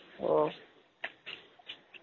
ஓ